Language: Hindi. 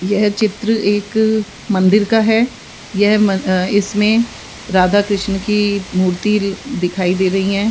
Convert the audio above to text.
यह चित्र एक मंदिर का है यह इसमें राधा कृष्ण की मूर्ति दिखाई दे रही है।